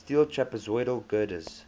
steel trapezoidal girders